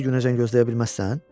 Birinci günəcən gözləyə bilməzsən?